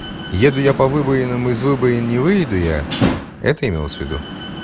еду я по выбоинам из выбоин не выеду я это имелось в виду